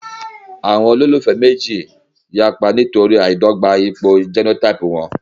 Àwọn olólùfẹ́ méjì náà yapa nítorí àìdọ́gba ipò jẹ́nótáípù wọn